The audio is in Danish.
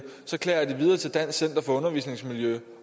så klager de videre til dansk center for undervisningsmiljø